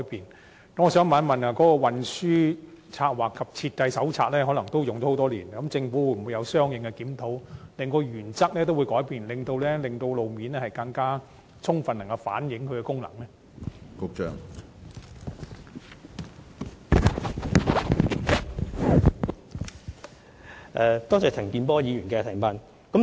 因此，我想詢問政府，《運輸策劃及設計手冊》已使用多年，當局會否作出相應檢討，更改當中所訂原則，以便更充分反映路面交通工具的功能？